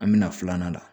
An bɛna filanan na